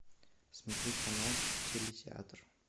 смотреть канал теле театр